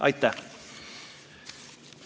Aitäh!